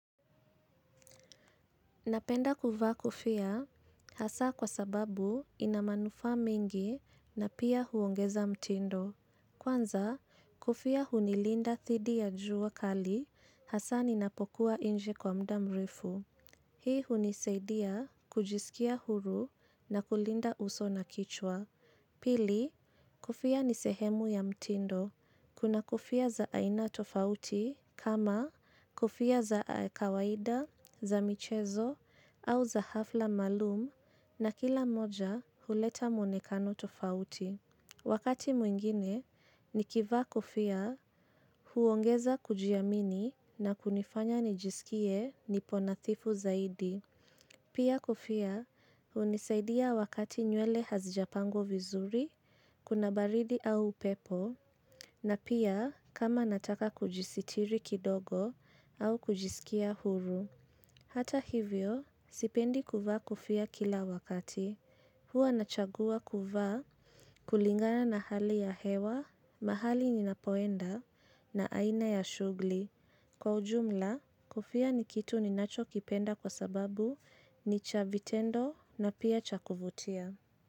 Napenda kuvaa kofia hasa kwa sababu inamanufa mingi na pia huongeza mtindo. Kwanza kofia hunilinda dhidi ya jua kali hasa ninapokuwa nje kwa muda mrefu. Hii hunisaidia kujisikia huru na kulinda uso na kichwa. Pili, kofia ni sehemu ya mtindo. Kuna kofia za aina tofauti kama kofia za kawaida, za michezo au za hafla maalum na kila moja huleta mwonekano tofauti. Wakati mwingine, nikiva kofia huongeza kujiamini na kunifanya nijisikie niponadhifu zaidi. Pia kofia, hunisaidia wakati nywele hazijapangwa vizuri, kuna baridi au upepo, na pia kama nataka kujisitiri kidogo au kujisikia huru. Hata hivyo, sipendi kuva kofia kila wakati. Huwa nachagua kuvaa kulingana na hali ya hewa, mahali ninapoenda, na aina ya shughuli. Cha vitendo na pia cha kuvutia.